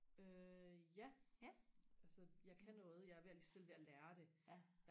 øh ja ja altså jeg kan noget jeg er ved selv ved og lære det